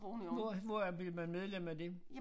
Hvor hvor er bliver man medlem af det